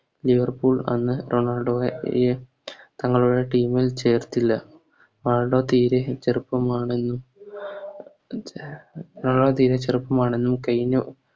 Liverpool അന്ന് തങ്ങളുടെ അഹ് തങ്ങളുടെ Team ൽ ചേർത്തില്ല റൊണാൾഡോ തീരെ ചെറുപ്പമാണെന്ന് റൊണാൾഡോ തീരെ ചെറുപ്പമാണെന്ന് കയിഞ്ഞ